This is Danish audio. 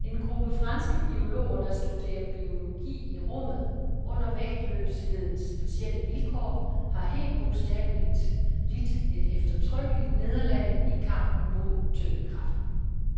En gruppe franske biologer, der studerer biologi i rummet under vægtløshedens specielle vilkår, har helt bogstaveligt lidt et eftertrykkeligt nederlag i kampen mod tyngdekraften.